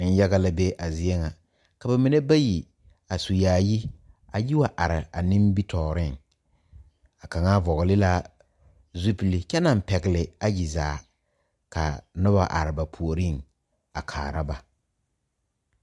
Nenyaga la be a zie kaŋa ka ba mine bayi a su yaayɛ a yi wa are a nimitɔɔre kaŋa vɔgle la zupele kyɛ naŋ pegle ayi zaa ka noba are ba puori a kaara ba.